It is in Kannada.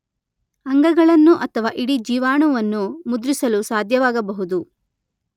ಅಂಗಗಳನ್ನು ಅಥವಾ ಇಡಿ ಜೀವಾಣುವನ್ನು ಮುದ್ರಿಸಲು ಸಾಧ್ಯವಾಗಬಹುದು.